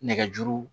Nɛgɛjuru